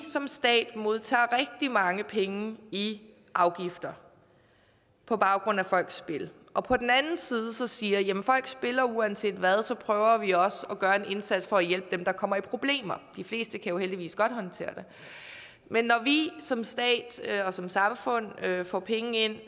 som stat modtager rigtig mange penge i afgifter på baggrund af folks spil og på den anden side siger at folk spiller uanset hvad så prøver vi også at gøre en indsats for at hjælpe dem der kommer i problemer de fleste kan heldigvis godt håndtere det men når vi som stat og som samfund får penge ind